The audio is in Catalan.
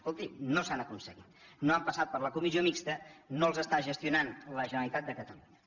escolti no s’han aconseguit no han passat per la comissió mixta no els està gestionant la generalitat de catalunya